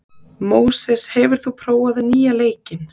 Móses, hefur þú prófað nýja leikinn?